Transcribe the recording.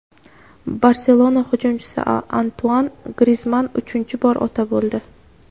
"Barselona" hujumchisi Antuan Grizman uchinchi bor ota bo‘ldi.